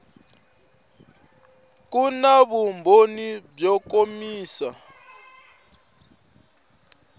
ku na vumbhoni byo kombisa